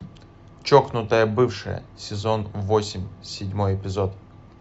чокнутая бывшая сезон восемь седьмой эпизод